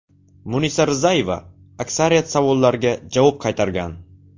Munisa Rizayeva aksariyat savollarga javob qaytargan.